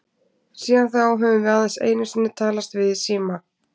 Síðan þá höfum við aðeins einu sinni talast við í síma.